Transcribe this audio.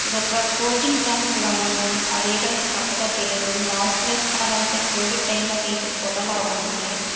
ఇదొక coaching centre లా ఉంది. అదేంటనేది కరట్ తెలీదు. మాస్క్ లేస్కున్నరంటె కోవిడ్ టైమ్ లో తీసిన ఫోటో లాగుందిది.